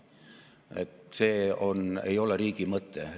See ei ole riigi mõte.